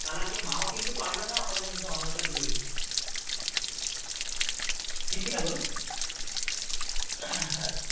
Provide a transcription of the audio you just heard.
তাহলে আজকে মাও কিন্তু পারবেনা আমাদের মুখে অন্ন টা তুলে দিতে ঠিক কিনা বল হ্যাঁ